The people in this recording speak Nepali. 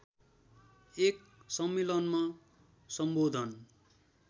एक सम्मेलनमा सम्बोधन